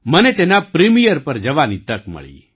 મને તેના પ્રિમિયર પર જવાની તક મળી